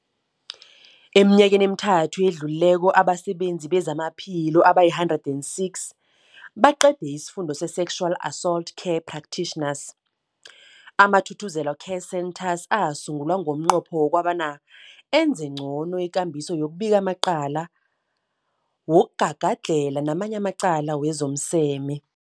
Eminyakeni emithathu edluleko, abasebenzi bezamaphilo abali-106 baqede isiFundo se-Sexual Assault Care Practitioners. AmaThuthuzela Care Centres asungulwa ngomnqopho wokobana enze ngcono ikambiso yokubika amacala wokugagadlhela namanye amacala wezomseme.